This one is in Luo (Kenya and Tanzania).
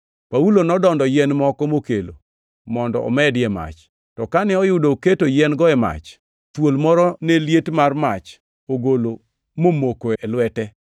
Paulo nodondo yien moko mokelo mondo omedi e mach, to kane oyudo oketo yien-go e mach, thuol moro ne liet mar mach ogolo momoko e lwete.